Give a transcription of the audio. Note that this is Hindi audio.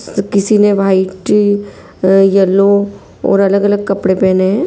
किसी ने व्हाइट येलो और अलग-अलग कपड़े पहने है।